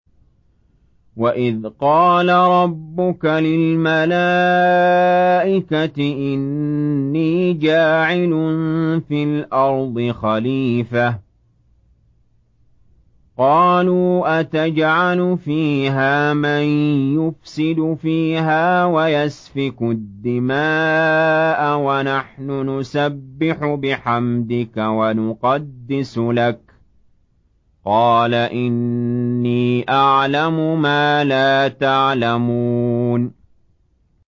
وَإِذْ قَالَ رَبُّكَ لِلْمَلَائِكَةِ إِنِّي جَاعِلٌ فِي الْأَرْضِ خَلِيفَةً ۖ قَالُوا أَتَجْعَلُ فِيهَا مَن يُفْسِدُ فِيهَا وَيَسْفِكُ الدِّمَاءَ وَنَحْنُ نُسَبِّحُ بِحَمْدِكَ وَنُقَدِّسُ لَكَ ۖ قَالَ إِنِّي أَعْلَمُ مَا لَا تَعْلَمُونَ